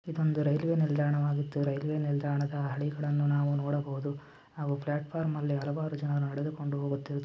ಇದು ಒಂದು ರೈಲ್ವೆ ನಿಲ್ದಾಣವಾಗಿದೆ ರೈಲ್ವೆ ನಿಲ್ದಾಣದ ಹಾಲಿಗಳು ನೋಡಬಹುದು ಆಲಿ ಪ್ಲಾಟ್ಫಾರ್ಮ್ ನಲ್ಲಿ ಹಲವಾರು ಜನ ನಡೆದುಕೊಂಡು ಹೋಗುತ್ತಿರುವುದು--